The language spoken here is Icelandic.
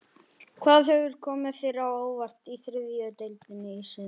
Hvað hefur komið þér á óvart í þriðju deildinni í sumar?